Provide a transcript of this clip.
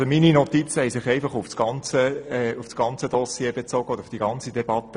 Meine Notizen beziehen sich auf das gesamte Geschäft und die ganze Debatte.